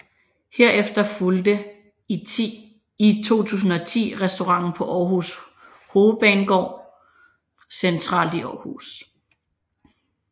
Herefter fulgte i 2010 restauranten på Aarhus Hovedbanegård centralt i Aarhus